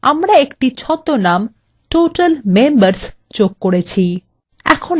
এছাড়াও আমরা একটি ছদ্মনাম total members যোগ করেছি